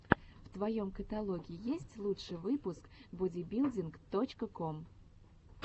в твоем каталоге есть лучший выпуск бодибилдинг точка ком